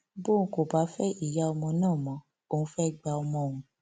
bọun kò bá fẹ ìyá ọmọ náà mọ òun fẹẹ gba ọmọ òun